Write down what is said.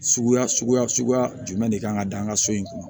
Suguya suguya suguya jumɛn de kan ka da an ka so in kun